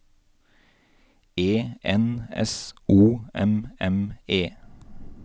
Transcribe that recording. E N S O M M E